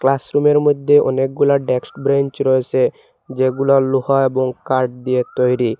আশ্রমের মইধ্যে অনেকগুলা ডেক্স ব্রেঞ্চ রয়েসে যেগুলো লোহা এবং কাঠ দিয়ে তৈরি।